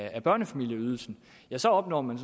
af børnefamilieydelsen så opnår man